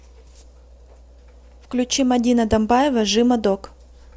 включи мадина домбаева жима дог